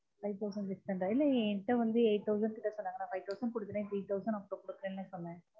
five thousand இல்லயே என் கிட்ட வந்து eight thousand கிட்ட சொன்னாங்க five thousand கொடுத்துட்டென் three thousand அப்புரம் கொடுக்கிறேன் தா சொன்னன்